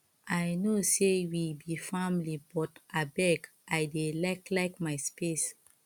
i know sey we be family but abeg i dey like like my space